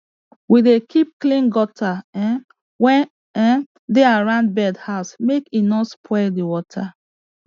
we dey keep clean gutter um wey um dey around bird house make e no spoil the water